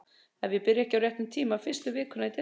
Ef ég byrja ekki á réttum tíma. fyrstu vikuna í desember.